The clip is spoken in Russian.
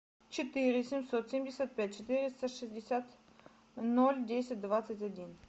четыре семьсот семьдесят пять четыреста шестьдесят ноль десять двадцать один